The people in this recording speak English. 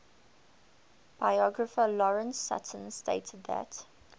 biographer lawrence sutin stated that